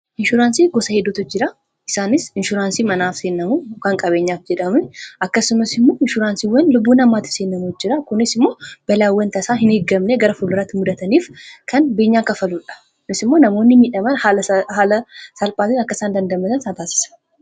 Inshuraansii gosa heduutu jira. Isaanis inshuraansii manaaf seennamu, kan qabeenyaaf jedhamun akkasumas immo inshuraansiiwwan lubbuu namaatif seennamu jira. kunis immoo balaawwan tasaa hin eegamne gara fuldurratti mudataniif kan beenyaa kafaluudha. kunis immoo namoonni miidhaman haala salphaatiin akkasaan dandamatan isaan taasisa.